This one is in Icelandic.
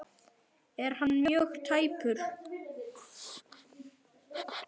Er hann mjög tæpur?